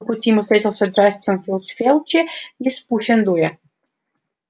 по пути ему встретился джастин финч-флетчли из пуффендуя